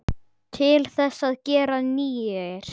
Til þess að gera nýir.